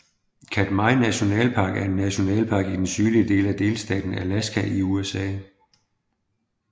Katmai National Park er en nationalpark i den sydlige del af delstaten Alaska i USA